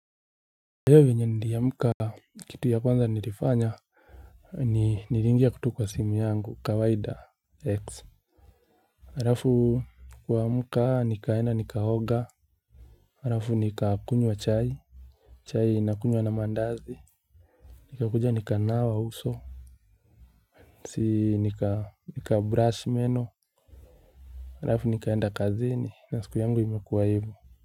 Leo yenye niliamka kitu ya kwanza nilifanya. Niriingia ku tu kwa simu yangu kawaida x. Harafu kuamka nikaenda nikaoga. Harafu nikakunywa chai. Chai nakunywa na mandazi. Nikakuja nikanawa uso. Si nikabrush meno arafu nikaenda kazini na siku yangu imekuwa ivo.